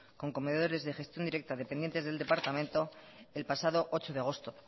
con comedores de gestión directa dependientes del departamento el pasado ocho de agosto